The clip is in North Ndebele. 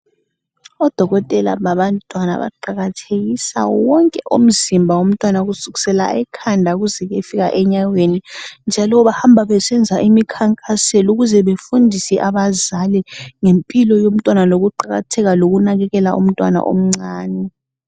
Odokotela babantwana baqakathekisa wonke umzimba womntwana kusukisela ekhanda kuze kuyefika enyaweni, njalo bahamba besenza imikhankaselo ukuze befundise abazali ngempilo yomntwana lokuqakatheka lokunakekela umntwana omncane.